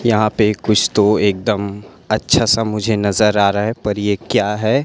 यहां पे कुछ तो एक दम अच्छा सा मुझे नजर आ रहा हैं पर ये क्या है?